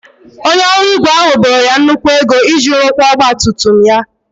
Onye ọrụ ígwè ahụ boro ya nnukwu ego iji rụkwaa ọgba tum tum ya.